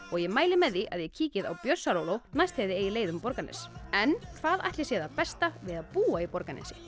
og ég mæli með því að þið kíkið á Bjössaróló næst þegar þið eigið leið um Borgarnes en hvað ætli sé það besta við að búa í Borgarnesi